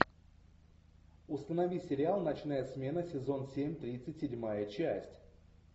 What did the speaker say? установи сериал ночная смена сезон семь тридцать седьмая часть